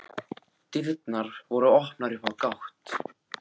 Dyrnar voru opnar upp á gátt.